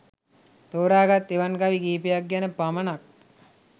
තෝරාගත් එවන් කවි කිහිපයක් ගැන පමණක්